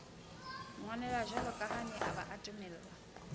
ngwanelajakane a ba a timellwa